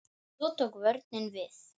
Svo tók vörnin við.